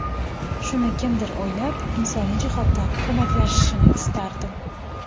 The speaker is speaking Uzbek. Shuni kimdir o‘ylab, insoniy jihatdan ko‘maklashishini istardim.